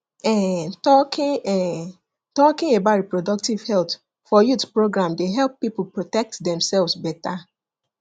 um talking um talking about reproductive health for youth program dey help people protect themselves better